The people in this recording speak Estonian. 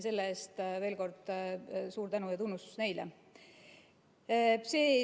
Selle eest veel kord suur tänu ja tunnustus neile.